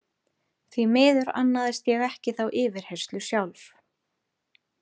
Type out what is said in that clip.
Því miður annaðist ég ekki þá yfirheyrslu sjálf.